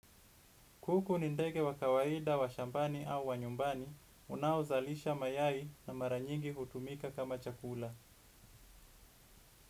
Kuku ni ndege wa kawaida wa shambani au wa nyumbani, unaozalisha mayai na maranyingi hutumika kama chakula.